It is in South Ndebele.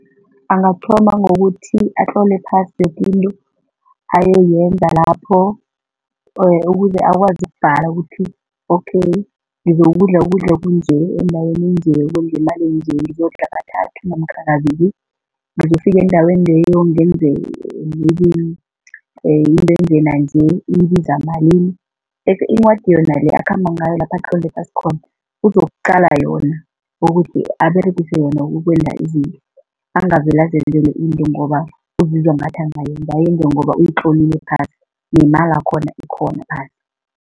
Angathoma ngokuthi atlole phasi yokinto ayoyenza lapho ukuze akwazi ukubhala ukuthi okay ngizokudla ukudla okunje, endaweni enje, ngemali enje, ngizokudla kathathu namkha kabili, ngizokufika endaweni leyo ngenze maye into enje nanje, ibiza malini bese incwadi yona le akhamba ngayo lapha atlole phasi khona, uzokuqala yona ukuthi aberegise yona ukwenza izinto, angavele azenzele into ngoba uzizwa ngathi angayenza, ayenze ngoba uyitlolile phasi, nemalakhona ikhona phasi.